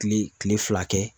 Kile kile fila kɛ.